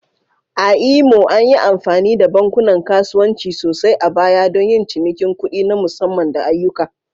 A Imo, an yi amfani da bankunan kasuwanci sosai a baya don yin cinikin kuɗi na musamman da ayyuka?